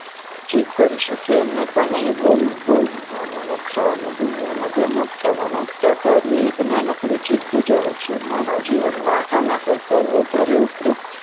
જીભ કરી શકે, અન્યથા નહિ. બોલવાનું ને ખાવાનું દુનિયાનાં બે મોટામાં મોટાં કાર્ય એક નાનકડી જીભ બજાવે છે. માનવજીવનમાં આના કરતાં વધારે ઉપયુક્ત